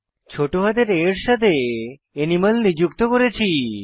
ছোট হাতের অক্ষর a এর সাথে অ্যানিমাল নিযুক্ত করেছি